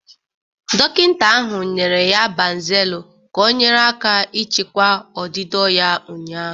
Dọkịta ahụ nyere ya Banzelu ka ọnyere aka ịchịkwa ọdịdọ ya ụnyaahụ.